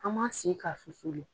An m'an sigi ka susu le.